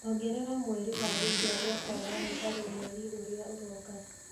ongerera mweri wa gũciarwo kwa mami harĩ mweri ũrĩa ũroka